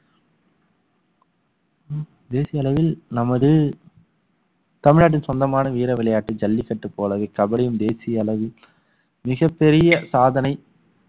தேசிய அளவில் நமது தமிழ்நாட்டுக்கு சொந்தமான வீர விளையாட்டு ஜல்லிக்கட்டு போலவே கபடியும் தேசிய அளவில் மிகப் பெரிய சாதனை